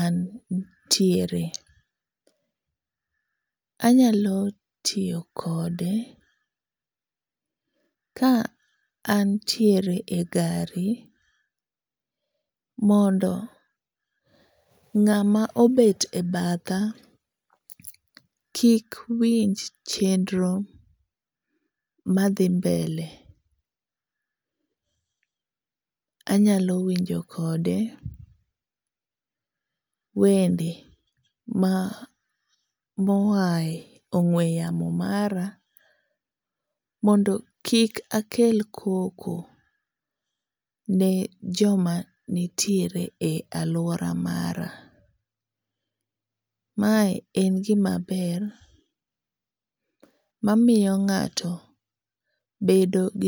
antiere. Anyalo tiyo kode ka antiere e gari mondo ng'ama obet e batha kik winj chenro madhi mbele. Anyalo winjo kode wende ma moae ong'ue yamo mara mondo kik akel koko ne joma nitiere e aluora mara. Mae en gima ber mamiyo ng'ato bedo gi